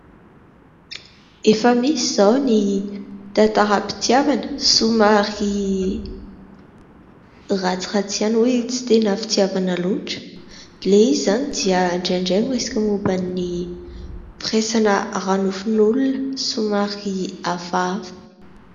Efa misy izao ny tantaram-pitiavana somary ratsiratsy ihany, tsy dia tena fitiavana loatra; ilay izy izany dia indrandray miresaka momban'ny firaisana ara-nofon'olona, somary hafahafa.